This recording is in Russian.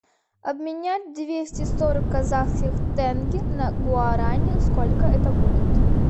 обменять двести сорок казахских тенге на гуарани сколько это будет